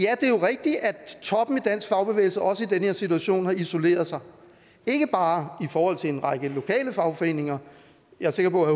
dansk fagbevægelse også i den her situation har isoleret sig ikke bare i forhold til en række lokale fagforeninger og jeg er sikker på at